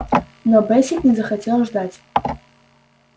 но бэсик не захотел ждать